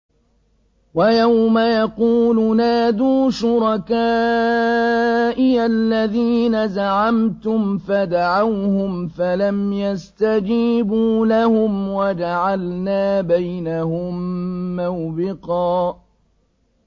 وَيَوْمَ يَقُولُ نَادُوا شُرَكَائِيَ الَّذِينَ زَعَمْتُمْ فَدَعَوْهُمْ فَلَمْ يَسْتَجِيبُوا لَهُمْ وَجَعَلْنَا بَيْنَهُم مَّوْبِقًا